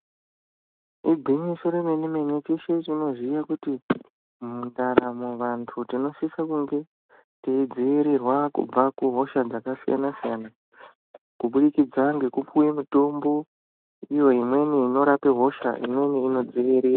Igwinyiso remene-mene teshe tinoziya kuti mundaramo vantu tinosise kunge teidzivirirwa kubve kuhosha dzakasiyana-siyana kubudikidza ngekupuwe mitombo iyo imweni inorape hosha imweni inodziviri...